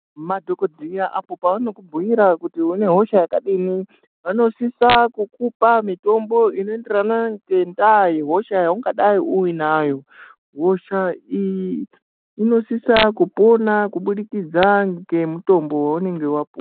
Madhokodheya apo paanokubhuira kuti une hosha yakadini vanosisa kukupa mutombo unoenderana ngendaa yehosha yaungadai uinayo hosha iyi inosisa kupona kubudikidza ngemutombo weunenge wapu..